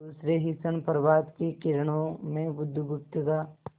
दूसरे ही क्षण प्रभात की किरणों में बुधगुप्त का